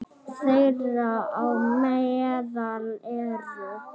Þeirra á meðal eru